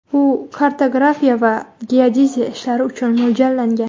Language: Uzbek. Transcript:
U kartografiya va geodeziya ishlari uchun mo‘ljallangan.